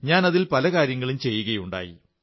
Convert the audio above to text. ഞാൻ അതിൽ പല കാര്യങ്ങളും ചെയ്യുകയുണ്ടായി